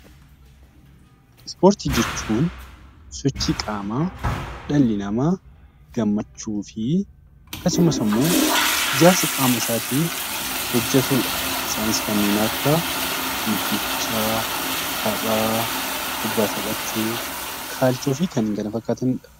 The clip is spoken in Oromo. Ispoortii jechuun sochii qaamaa dhalli namaa gammachuuf akkasumas ammoo ijaarsa qaama isaatiif hojjetuudha. Isaanis kanneen akka fiigichaa, taphaa, kubbaa taphachuu , kaachoo fi kanneen kana fakkaataniidha.